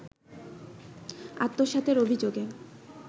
আত্মসাতের অভিযোগে